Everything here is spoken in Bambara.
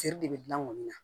Cɛ de bɛ gilan ŋɔni na